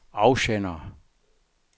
afsender